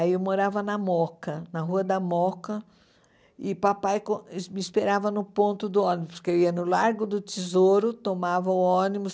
Aí eu morava na Mooca, na Rua da Mooca, e papai con es me esperava no ponto do ônibus, porque eu ia no Largo do Tesouro, tomava o ônibus,